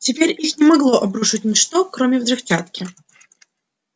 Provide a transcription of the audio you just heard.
теперь их не могло обрушить ничто кроме взрывчатки